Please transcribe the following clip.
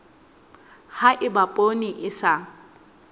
ha eba poone e sa